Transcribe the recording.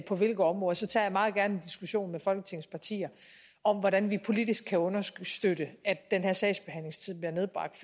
på hvilke områder så tager jeg meget gerne en diskussion med folketingets partier om hvordan vi politisk kan understøtte at den her sagsbehandlingstid bliver nedbragt